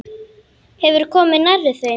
Hefurðu komið nærri þeim?